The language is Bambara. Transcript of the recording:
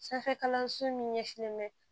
Sanfɛ kalanso min ɲɛsinnen bɛ